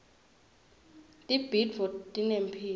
tibhidvo tinemphilo